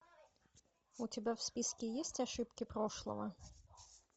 у тебя в списке есть ошибки прошлого